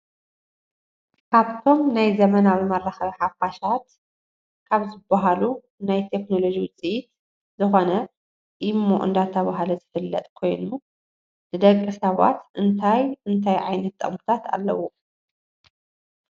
ካብቶም ናይ ዘመናዊ መራካቢ ሓፋሻት ካብ ዝብሃሉ ናይ ቴክኖሎጂ ውፅኢት ዝኮነ ኢሞ እናተባህለ ዝፍለጥ ኮይኑ ንደቂ ሰባት እንታይ እንታይ ዓይነት ጥቅምታት ኣለዎ?